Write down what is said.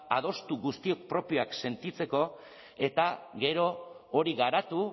adostu guztiok propioak sentitzeko eta gero hori garatu